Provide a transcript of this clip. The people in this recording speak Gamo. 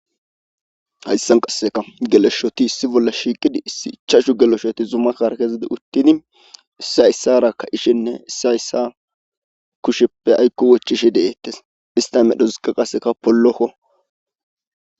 Hayssan qasseka geloshoti issi bolla shiiqidi issi ichashu geloshoti zuma karkezidi uttini issayssarakka ishenne isayssa kusheppe aykko wochishe deettes ista medhosiqa qaseka pollokko.